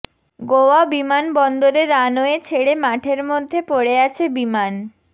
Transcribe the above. গোয়া বিমানবন্দরে রানওয়ে ছেড়ে মাঠের মধ্যে পড়ে আছে বিমান